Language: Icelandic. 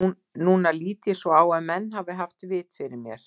Núna lít ég svo á að menn hafi haft vit fyrir mér.